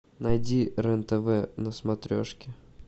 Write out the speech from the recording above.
найди рен тв на смотрешке